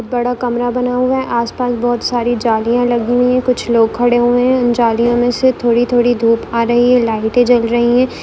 एक बड़ा कमरा बना हुआ है आस पास बहुत सारी जालिया लगी हुई है कुछ लोग खड़े हुए हैं उन जालियों में से थोड़ी थोड़ी धूप आ रही है लाइटे जल रही है।